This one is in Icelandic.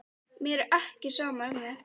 Mér er ekki sama um þig.